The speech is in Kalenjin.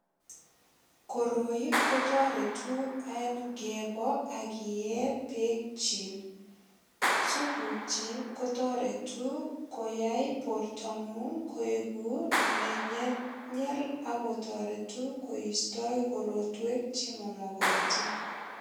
Koroi ko toretu en kibo ak iyee beek chik. Supukyik kotoreti ko koyai bortongung koegu nenyelnyel ak kotoretu koistoi korotwek chemamogotin.